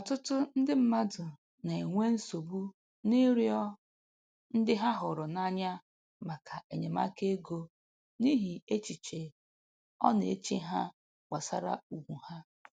Ọtụtụ ndị mmadụ na-enwe nsogbu n'ịrịọ ndị ha hụrụ n'anya maka enyemaka ego n'ihi echiche ọ na-eche ha gbasara ugwu ha.